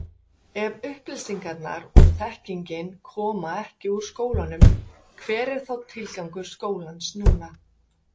Þegar upplýsingarnar og þekkingin koma ekki úr skólanum hver er þá tilgangur skólans núna?